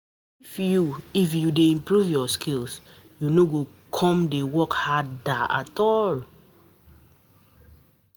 If you If you dey improve your skill, you no go come dey work harder.